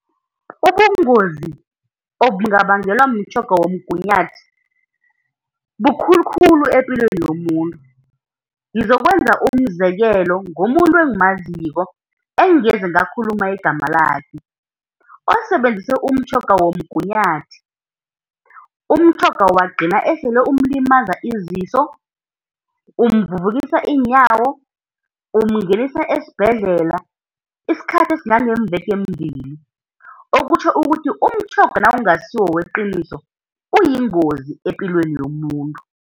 Ubungozi obungabangelwa mtjhoga womgunyathi bukhulu khulu epilweni yomuntu. Ngizokwenza umzekelo ngomuntu engimaziko, engingeze ngakhuluma igama lakhe osebenzise umtjhoga womgunyathi, umtjhoga wagcina sele umlimaza iziso, umvuvukisa iinyawo, umngenisa esibhedlela isikhathi esingangeemveke ezimbili, okutjho ukuthi umtjhoga nawungasiwo weqiniso uyingozi epilweni yomuntu.